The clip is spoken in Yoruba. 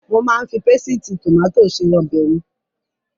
Mo máa ń fi pésìtì tòmátì se ọbẹ̀ mi.